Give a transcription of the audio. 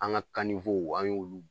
An ka an y'olu